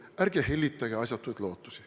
Ärge hellitage asjatuid lootusi.